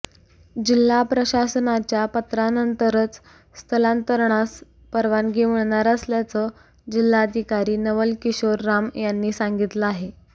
जिल्हा प्रशासनाच्या पत्रानंतरच स्थलांतरणास परवानगी मिळणार असल्याचं जिल्हाधिकारी नवल किशोर राम यांना सांगितलं आहे